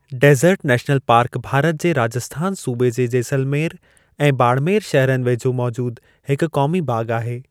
Dessert national park Bharat जे राजस्थान सूबे जे जैसलमेरु ऐं बाड़मेरु शहरनि वेझो मौजूदु हिकु क़ौमी बाग़ु आहे।